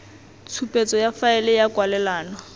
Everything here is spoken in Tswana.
tshupetso ya faele ya kwalelano